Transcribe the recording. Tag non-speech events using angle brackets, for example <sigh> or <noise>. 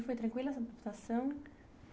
E foi tranquila essa? <unintelligible>